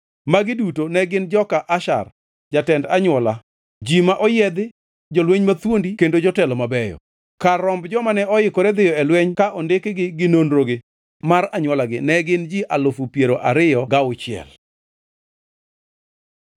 Magi duto ne gin joka Asher, jotend anywola, ji ma oyiedhi, jolweny mathuondi kendo jotelo mabeyo. Kar romb jomane oikore dhiyo e lweny, ka ondikgi ginonrogi mar anywolagi ne gin ji alufu piero ariyo gi auchiel (26,000).